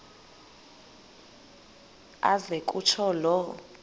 aze kutsho la